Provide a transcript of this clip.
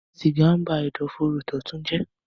siga nba Ẹ̀dọ̀fóró Dọtun jé.